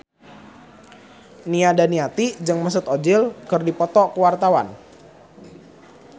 Nia Daniati jeung Mesut Ozil keur dipoto ku wartawan